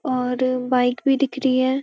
और बाइक भी दिख रही है।